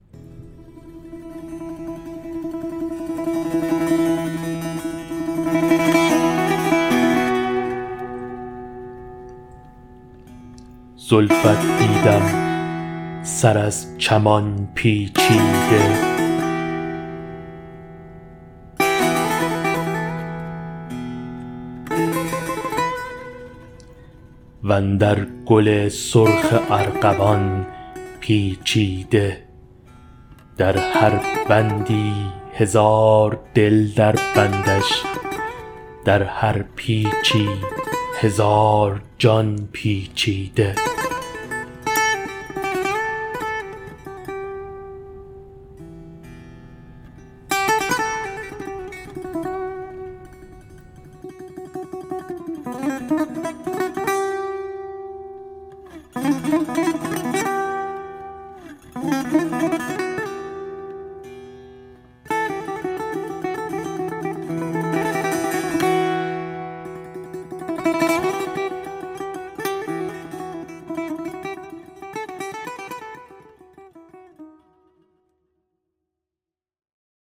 زلفت دیدم سر از چمان پیچیده وندر گل سرخ ارغوان پیچیده در هر بندی هزار دل در بندش در هر پیچی هزار جان پیچیده